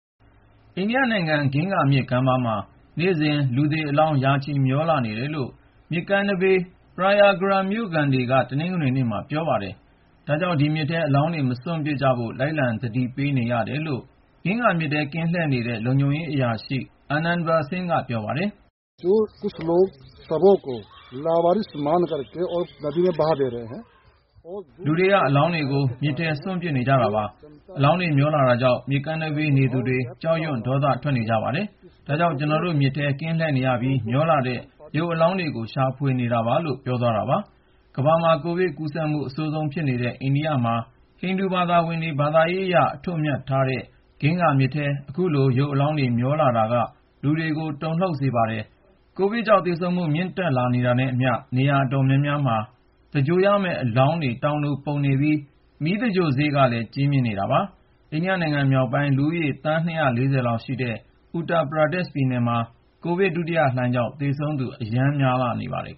အိန္ဒိယနိုင်ငံ ဂင်္ဂါမြစ်ကမ်းပါးမှာ နေ့စဉ် လူသေအလောင်း ရာချီ မျောလာနေတယ်လို့ မြစ်ကမ်းနဘေး Prayagraj မြို့ခံတွေက တနင်္ဂနွေနေ့က ပြောပါတယ်။ ဒါကြောင့် ဒီမြစ်ထဲ အလောင်းတွေ မစွန့်ပစ်ကြဖို့ လိုက်လံ သတိပေးနေရတယ်လို့ ဂင်္ဂါမြစ်ထဲ ကင်းလှည့်နေတဲ့ လုံခြုံရေးအရာရှိ Anandveer Singh က ပြောပါတယ်။ “လူတွေက အလောင်းတွေကို မြစ်ထဲ စွန့်ပစ်နေကြတာပါ။ အလောင်းတွေ မျောနေတာကြောင့် မြစ်ကမ်းနဘေး နေသူတွေ ကြောက်ရွံ့ ဒေါသထွက်နေကြပါတယ်။ ဒါကြောင့် ကျနော်တို့ မြစ်ထဲမှာ ကင်းလှည့်နေရပြီး မျောလာတဲ့ ရုပ်အလောင်းတွေကို ရှာဖွေနေကြတာပါ” လို့ ပြောပါတယ်။ ကမ္ဘာမှာ ကိုဗစ်ကူးစက်မှု အဆိုးဆုံးဖြစ်နေတဲ့ အိန္ဒိယနိုင်ငံမှာ ဟိန္ဒူဘာသာဝင်တွေ ဘာသာရေးအရ အထွတ်အမြတ်ထားတဲ့ ဂင်္ဂါမြစ်ထဲ အခုလို ရုပ်အလောင်းတွေ မျောလာတာက လူတွေကို တုန်လှုပ်စေခဲ့ပါတယ်။ ကိုဗစ်ကြောင့် သေဆုံးမှု မြင့်တက်လာတာနဲ့အမျှ နေရာအတော်များများမှာ သင်္ဂြိုဟ်ရမယ့် ရုပ်အလောင်းတွေ တောင်လိုပုံနေပြီး မီးသင်္ဂြိုဟ်စရိတ်ကလည်း ကြီးမြင့်နေတာပါ။ အိန္ဒိယနိုင်ငံ မြောက်ပိုင်း လူဦးရေ သန်း ၂၄၀ လောက်ရှိတဲ့ Uttar Pradesh ပြည်နယ်မှာ ကိုဗစ်ဒုတိယလှိုင်းကြောင့် သေဆုံးသူ အရမ်းများလာနေပါတယ်